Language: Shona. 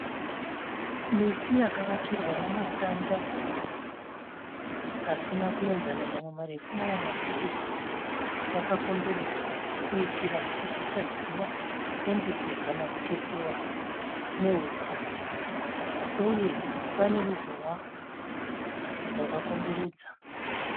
Miti yakavakirwa nematanda asina kuenzana mamwe marefu mamwe mapfupi yakakomberedzwa kuitira kuti isadyiwa nembudzi kana kutetewa nehuku uye pane ruzhowa rwakakomberedza.